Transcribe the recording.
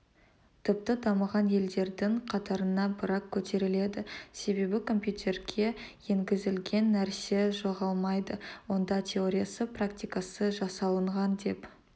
тіпті дамыған елдердің қатарына бірақ көтеріледі себебі компьютерге енгізілген нәрсе жоғалмайды онда теориясы практикасы жасалынған деп